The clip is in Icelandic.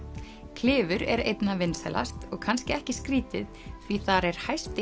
klifur er einna vinsælast og kannski ekki skrítið því þar er hæsti